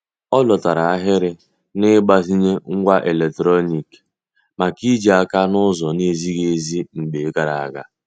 Ọ dọtara ahịrị n'igbazinye ngwá eletrọnịkị maka ijì aka n'ụzọ na-ezighị ezi mgbe gara aga.